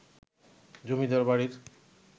জমিদার বাড়ির